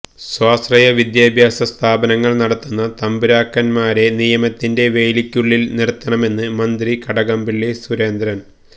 സ്വാശ്രയ വിദ്യാഭ്യാസ സ്ഥാപനങ്ങൾ നടത്തുന്ന തമ്പുരാക്കൻമാരെ നിയമത്തിന്റെ വേലിക്കുള്ളിൽ നിർത്തണമെന്ന് മന്ത്രി കടകംപള്ളി സുരേന്ദ്രൻ